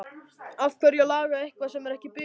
Af hverju að laga eitthvað sem er ekki bilað?